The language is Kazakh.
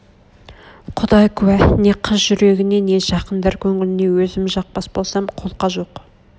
құдай куә не қыз жүрегіне не жақындар көңілне өзім жақпас болсам қолқа жоқ